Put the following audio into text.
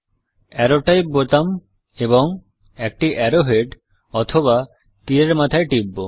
arrow type বোতাম এবং একটি অ্যারো হেড বা তীরের মাথা টিপব